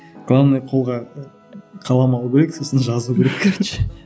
главное қолға қалам алу керек сосын жазу керек короче